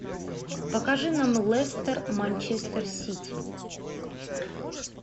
покажи нам лестер манчестер сити